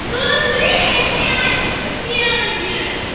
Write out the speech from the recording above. ну андрей блять да что ты делаешь